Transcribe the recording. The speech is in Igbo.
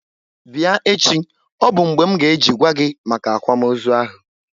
Bịa echi! Ọ bụ mgbe m nga eji gwa gi maka akwamozu ahu